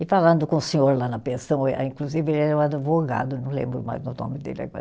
E falando com o senhor lá na pensão, ah inclusive ele era um advogado, não lembro mais o nome dele agora.